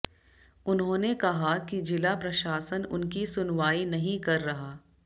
उन्होंने कहा कि जिला प्रशासन उनकी सुनवाई नहीं कर रहा